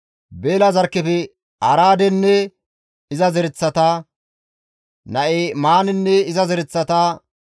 Beela zarkkefe Araadenne iza zereththata; Na7imaanenne iza zereththata,